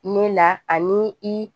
Ne la ani i